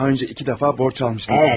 Daha öncə iki dəfə borc almışdınız.